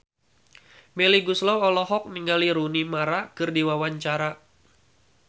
Melly Goeslaw olohok ningali Rooney Mara keur diwawancara